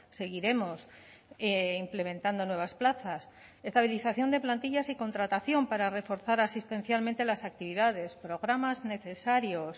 seguiremos implementando nuevas plazas estabilización de plantillas y contratación para reforzar asistencialmente las actividades programas necesarios